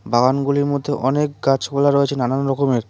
বাগানগুলির মধ্যে অনেক গাছপালা রয়েছে নানান রকমের।